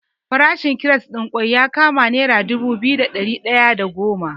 Farashin kires ɗin kwai ya kama nera dubu biyu da ɗari ɗaya da goma.